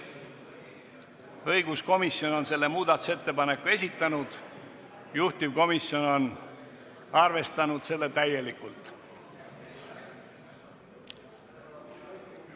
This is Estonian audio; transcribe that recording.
Õiguskomisjon on selle muudatusettepaneku esitanud ja juhtivkomisjon on seda täielikult arvestanud.